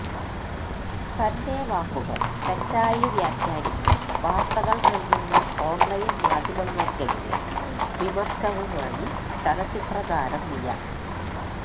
തന്റെ വാക്കുകള് തെറ്റായി വ്യാഖാനിച്ച് വാര്ത്തകള് നല്കുന്ന ഓണ്ലൈന് മാധ്യമങ്ങള്ക്കെതിരെ വിമര്ശവുമായി ചലച്ചിത്ര താരം മിയ